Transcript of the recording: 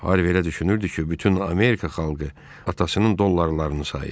Harvi elə düşünürdü ki, bütün Amerika xalqı atasının dollarlarını sayır.